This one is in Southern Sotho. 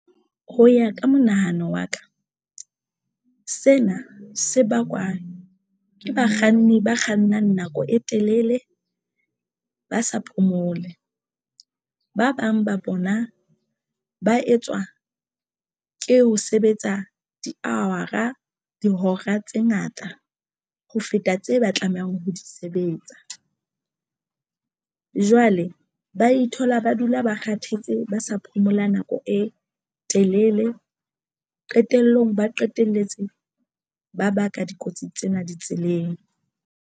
Ho ya ka monahano wa ka sena se bakwa ke bakganni ba kgannang nako e telele ba sa phomole. Ba bang ba bona ba etswa ke ho sebetsa di-hour-a dihora tse ngata ho feta tse ba tlamehang ho di sebetsa. Jwale ba ithola ba dula ba kgathetse, ba sa phomola nako e telele qetellong, ba qetelletse ba baka dikotsi tsena di tseleng.